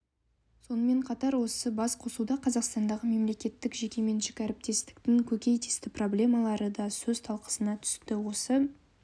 сонымен қатар осы басқосуда қазақстандағы мемлекеттік жеке меншік әріптестіктің көкейкесті проблемалары да сөз талқысына түсті осы